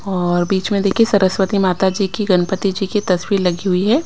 और बीच में देखिए सरस्वती माता जी की गणपति जी की तस्वीर लगी हुई है।